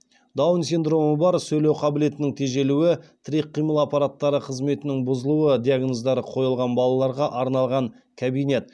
даун синдромы бар сөйлеу қабілетінің тежелуі тірек қимыл аппараттары қызметінің бұзылуы диагноздары қойылған балаларға арналған кабинет